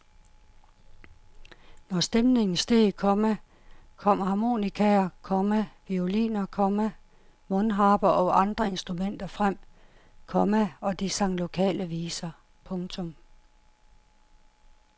Når stemningen steg, komma kom harmonikaer, komma violiner, komma mundharper og andre instrumenter frem, komma og de sang lokale viser. punktum